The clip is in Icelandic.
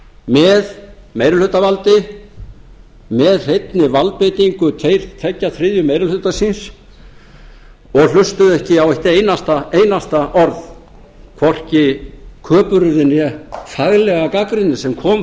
með meirihlutavaldi með hreinni valdbeitingu tveggja þriðju meiri hluta síns og hlustuðu ekki á eitt einasta orð hvorki köpuryrði né faglega gagnrýna sem kom